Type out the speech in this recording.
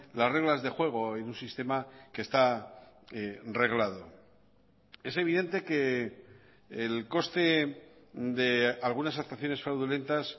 las reglas de juego en un sistema que está reglado es evidente que el coste de algunas actuaciones fraudulentas